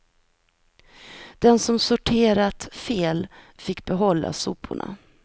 Den som sorterat fel fick behålla soporna.